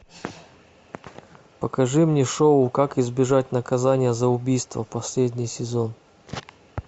покажи мне шоу как избежать наказания за убийство последний сезон